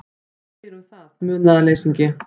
Hvað segirðu um það, munaðarleysingi?